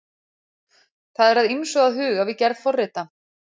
Það er að ýmsu að huga við gerð forrita.